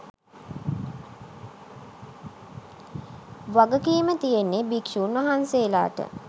වගකීම තියෙන්නෙ භික්ෂුන් වහන්සේලාට.